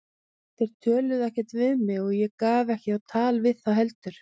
Þeir töluðu ekkert við mig og ég gaf mig ekki á tal við þá heldur.